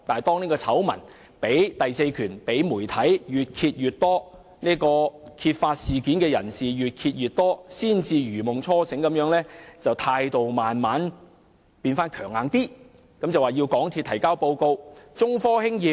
當醜聞被第四權和揭發事件的人士越揭越多，陳局長才如夢初醒地以較強硬的態度要求港鐵公司提交報告。